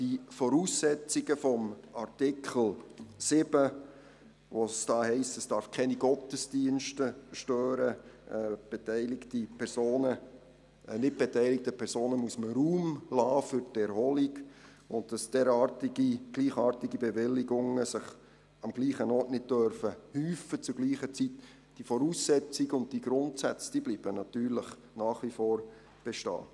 Die Voraussetzungen gemäss Artikel 7, welcher besagt, dass keine Gottesdienste gestört werden dürfen, dass nicht beteiligten Personen Raum für die Erholung gelassen werden muss und dass sich gleichartige Bewilligungen am selben Ort zur selben Zeit nicht häufen dürfen – diese Voraussetzungen und Grundsätze bleiben natürlich nach wie vor bestehen.